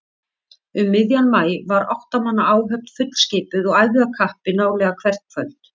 Um miðjan maí var átta manna áhöfn fullskipuð og æfði af kappi nálega hvert kvöld.